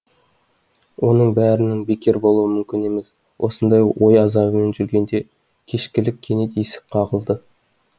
оның бәрінің бекер болуы мүмкін емес осындай ой азабымен жүргенде кешкілік кенет есік қағылды